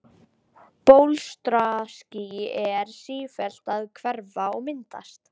Bólstraský eru sífellt að hverfa og myndast.